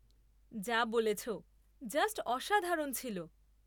যা বলেছ, জাস্ট অসাধারণ ছিল।